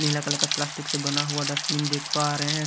नीला colour का plastic से बना हुआ डस्टबिन देख पा रहे हैं।